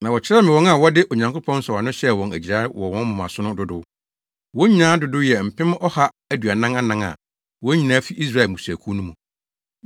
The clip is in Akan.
Na wɔkyerɛɛ me wɔn a wɔde Onyankopɔn nsɔwano hyɛɛ wɔn agyirae wɔ wɔn moma so no dodow. Wɔn nyinaa dodow yɛ mpem ɔha aduanan anan a, wɔn nyinaa fi Israel mmusuakuw no mu.